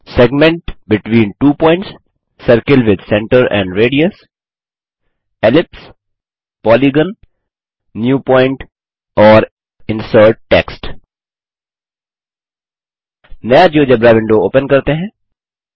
segment between two points circle with centre and radius ellipse polygon new point and insert text नया GeoGebra window open करते हैं